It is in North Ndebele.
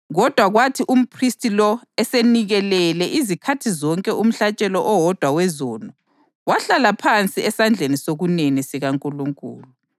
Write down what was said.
Insuku zonke umphristi uyema enze imisebenzi yakhe yenkonzo, anikele njalonjalo imihlatshelo minye, engeke isuse izono.